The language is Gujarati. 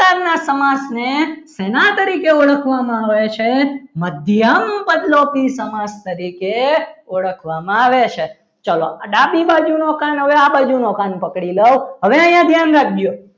સમાસને સેના તરીકે ઓળખવામાં આવે છે મધ્યમ પદ લોભી સમાજ તરીકે ઓળખવામાં આવે છે ચલો ડાબી બાજુનો કાન હવે આ બાજુનો કાન પકડી લઉં હવે અહીંયા ધ્યાન રાખજો.